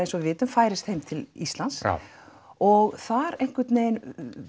eins og við vitum færist heim til Íslands og þar einhvern veginn